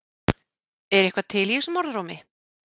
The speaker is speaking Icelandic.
Er eitthvað til í þessum orðrómi?